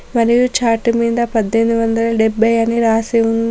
మరియు చార్ట్ మీద పద్దెనిమి వందల డెబ్బై అని రాసి ఉం --